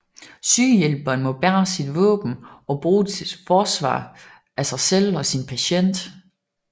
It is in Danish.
Sygehjælperen må bære sit våben og bruge det til forsvar af sig selv og sin patient